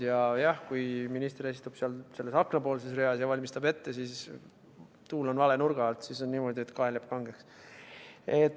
Jah, kui minister istub seal selles aknapoolses reas ja valmistab ette, ja kui tuul on vale nurga alt, siis kael jääb kangeks.